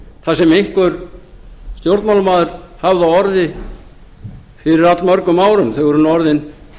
það sem einhver stjórnmálamaður hafði á orði fyrir allmörgum árum þau eru nú orðin